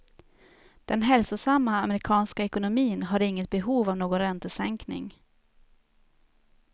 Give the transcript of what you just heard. Den hälsosamma amerikanska ekonomin har inget behov av någon räntesänkning.